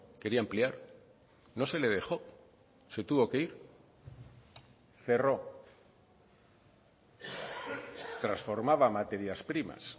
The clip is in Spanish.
quería ampliar no se le dejó se tuvo que ir cerró transformaba materias primas